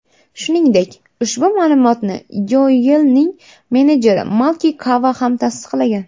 Shuningdek, ushbu ma’lumotni Yoelning menejeri Malki Kava ham tasdiqlagan.